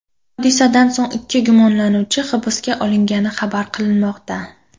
Hodisadan so‘ng ikki gumonlanuvchi hibsga olingani xabar qilinmoqda.